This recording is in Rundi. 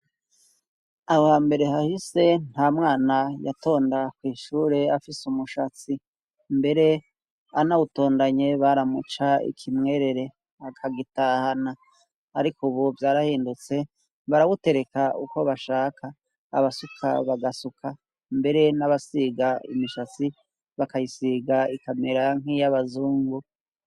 Aho hambere hahise nta mwana yatonda kw' ishure afise umushatsi; mbere anawutondanye baramuca ikimwerere akagitahana. Ariko ubu vyarahindutse barawutereka uko bashaka abasuka bagasuka, mbere n'abasiga imishatsi bakayisiga ikamera nk'iy'abazungu.